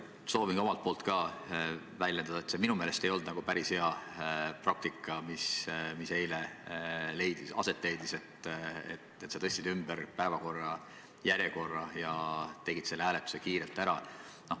Ma soovin ka omalt poolt väljendada seda, et see ei olnud minu meelest päris hea praktika, mis eile toimus, et sa tõstsid päevakorrapunktide järjekorra ümber ja tegid selle hääletuse kiirelt ära.